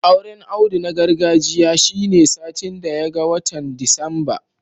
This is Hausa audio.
Auren Audu na gargajiya shine satin daya ga watan Disamba